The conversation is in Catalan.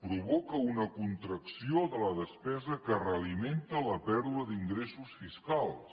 provoca una contracció de la despesa que realimenta la pèrdua d’ingressos fiscals